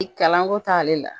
I kalanko t'ale la